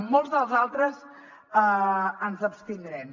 en molts dels altres ens abstindrem